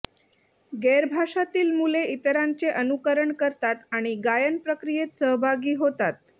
गैरभाषातील मुले इतरांचे अनुकरण करतात आणि गायन प्रक्रियेत सहभागी होतात